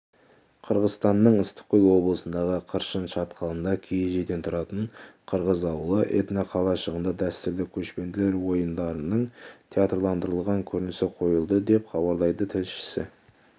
қырғызстанның ыстықкөл облысындағы қыршын шатқалында киіз үйден тұратын қырғыз ауылы этноқалашығында дәстүрлі көшпенділер ойындарының театрландырылған көрінісі қойылды деп хабарлайды тілшісі